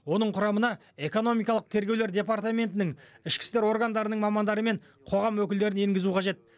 оның құрамына экономикалық тергеулер департаментінің ішкі істер органдарының мамандары мен қоғам өкілдерін енгізу қажет